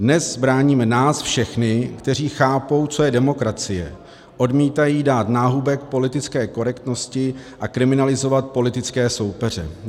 Dnes bráníme nás všechny, kteří chápou, co je demokracie, odmítají dát náhubek politické korektnosti a kriminalizovat politické soupeře.